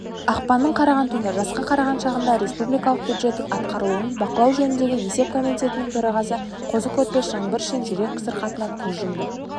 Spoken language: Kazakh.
ақпанның қараған түні жасқа қараған шағында республикалық бюджеттің атқарылуын бақылау жөніндегі есеп комитетінің төрағасы қозы-көрпеш жаңбыршин жүрек сырқатынан көз жұмды